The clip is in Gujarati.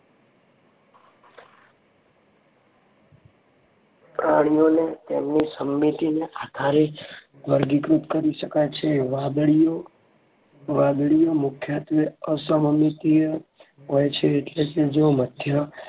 પ્રાણીઓને તેમની સમમીતીને આધારે વર્ગીકૃત કરી શકાય છે. વાદળીઓ મુખ્યત્વે અસમમિતિય હોય છે. એટલે કે જો મધ્ય